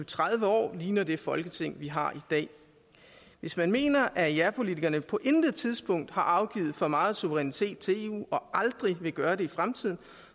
tredive år ligner det folketing vi har i dag hvis man mener at japolitikerne på intet tidspunkt har afgivet for meget suverænitet til eu og aldrig vil gøre det i fremtiden